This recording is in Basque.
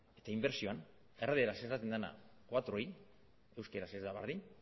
eta inbertsioan erdaraz esaten dena laui euskaraz ez da berdin